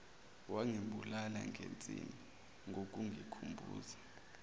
wangibulala ngensini ngokungikhumbuza